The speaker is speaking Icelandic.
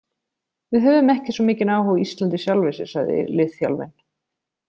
Við höfum ekki svo mikinn áhuga á Íslandi í sjálfu sér, sagði liðþjálfinn.